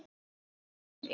Hvernig á að byrja?